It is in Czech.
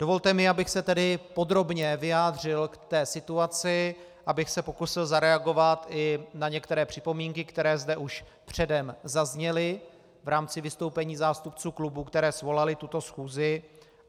Dovolte mi, abych se tedy podrobně vyjádřil k té situaci, abych se pokusil zareagovat i na některé připomínky, které zde už předem zazněly v rámci vystoupení zástupců klubů, které svolaly tuto schůzi.